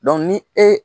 ni e